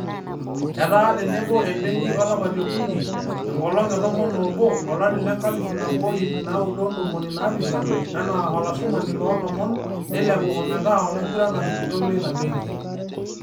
Etaa tenebo ebenki olapa liokunii enkolong e tomon oobo, olari lenkalifu naboo o iip naudo ontomini naapishan enaa olashumani loolomon neilepu ometaa olaingurani kitok leina benki.